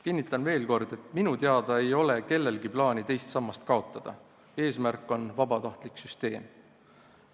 Kinnitan veel kord, et minu teada ei ole kellelgi plaani teist sammast kaotada, eesmärk on vabatahtlik süsteem.